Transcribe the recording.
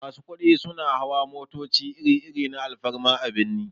Masu kudi suna hawa motoci iri-iri na alfarma a birni.